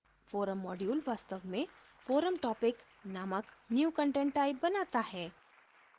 forum module वास्तव में forum topic नामक new content type बनाता है